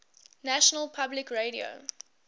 national public radio